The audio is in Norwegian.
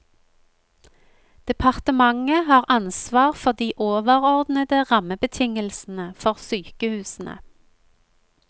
Departementet har ansvar for de overordnede rammebetingelsene for sykehusene.